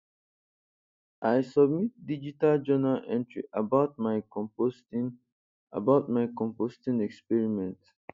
i submit digital journal entry about my composting about my composting experiment